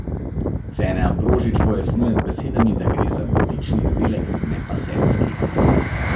Cene Ambrožič pojasnjuje z besedami, da gre za butični izdelek, ne pa serijski.